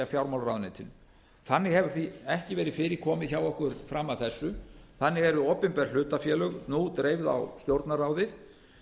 fjármálaráðuneytinu þannig hefur því ekki verið fyrir komið hjá okkur fram að þessu þannig eru opinber hlutafélög nú dreifð á stjórnarráðið